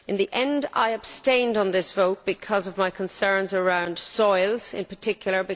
In the end, I abstained on this vote because of my concerns about soils in particular.